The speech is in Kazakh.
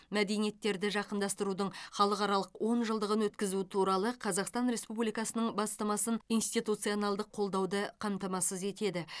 мәдениеттерді жақындастырудың халықаралық онжылдығын өткізу туралы қазақстан республикасының бастамасын институционалдық қолдауды қамтамасыз етеді